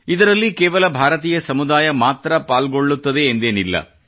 ಇದರಲ್ಲಿ ಕೇವಲ ಭಾರತೀಯ ಸಮುದಾಯ ಮಾತ್ರ ಪಾಲ್ಗೊಳ್ಳುತ್ತದೆ ಎಂದೇನಿಲ್ಲ